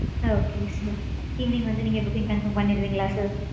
Okay sir. Evening வந்து நீங்க booking confirm பண்ணிருவீங்களா sir?